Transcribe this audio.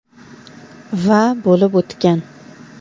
...va bo‘lib o‘tgan.